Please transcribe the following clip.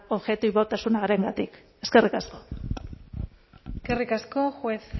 objektibotasunarengatik eskerrik asko eskerrik asko juez